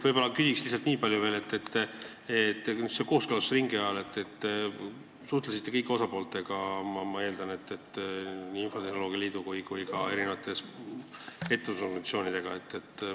Küsin lihtsalt selle kohta, et kooskõlastusringi ajal te kindlasti suhtlesite kõikide osapooltega, ma eeldan, nii infotehnoloogia liidu kui ka ettevõtlusorganisatsioonidega.